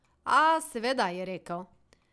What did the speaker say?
A, seveda, je rekel.